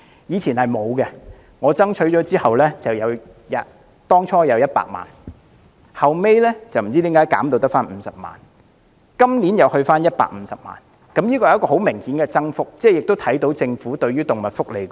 以前是沒有的，我爭取後，政府最初撥款100萬元，後來不知為何減至50萬元，今年又增至150萬元，這是很明顯的增幅，也看到政府重視動物福利。